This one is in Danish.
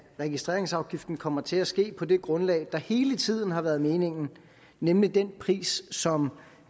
registreringsafgiften kommer til at ske på det grundlag der hele tiden har været meningen nemlig den pris som